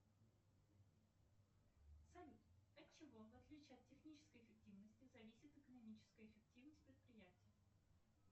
салют от чего в отличие от технической эффективности зависит экономическая эффективность предприятия